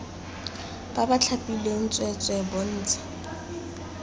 ba ba thapilweng tsweetswee bontsha